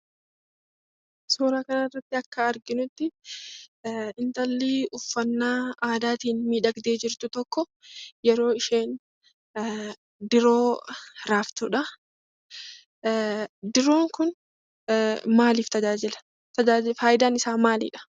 Suura kanarratti akka arginutti, intalli uffannaa aadaatiin miidhagdee jirtu tokko yeroo isheen diroo raaftudha. Diroon kun maaliif tajaajila? fayidaan isaa maalidhaa?